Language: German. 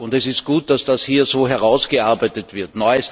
Es ist gut, dass das hier so herausgearbeitet wird.